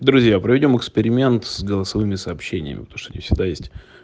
друзья проведём эксперимент с голосовыми сообщениями потому что они всегда есть